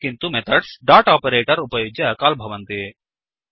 किन्तु methods dot operator उपयुज्य call भवन्ति